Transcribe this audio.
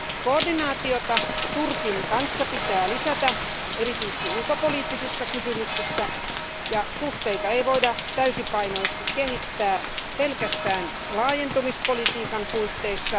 Koordinaatiota Turkin kanssa pitää lisätä erityisesti ulkopoliittisissa kysymyksissä ja suhteita ei voida täysipainoisesti kehittää pelkästään laajentumispolitiikan puitteissa.